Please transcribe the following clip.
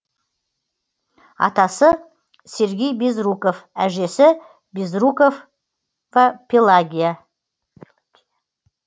атасы сергей безруков әжесі безруков пелагия